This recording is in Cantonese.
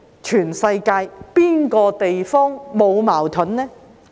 全世界哪個地方沒有矛盾的呢？